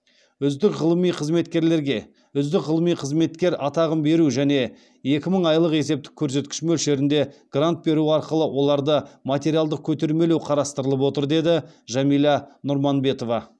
үздік ғылыми қызметкерлерге үздік ғылыми қызметкер атағын беру және екі мың айлық есептік көрсеткіш мөлшерінде грант беру арқылы оларды материалдық көтермелеу қарастырылып отыр деді жәмилә нұрманбетова